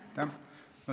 Aitäh!